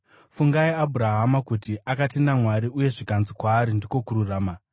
Fungai Abhurahama kuti, “Akatenda Mwari, uye zvikanzi kwaari ndiko kururama.”